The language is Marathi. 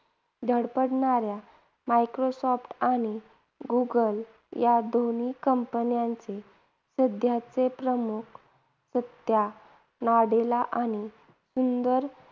धडपडणाऱ्या मायक्रोसॉफ्ट आणि गुगल या दोन्ही companies चे सध्याचे प्रमुख सत्या नडेला आणि सुंदर